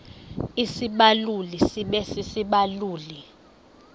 isibaluli sibe sisibaluli